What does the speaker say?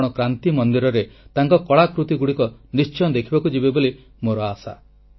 ଆପଣ କ୍ରାନ୍ତି ମନ୍ଦିରରେ ତାଙ୍କ କଳାକୃତିଗୁଡ଼ିକ ନିଶ୍ଚୟ ଦେଖିବାକୁ ଯିବେ ବୋଲି ମୋର ଆଶା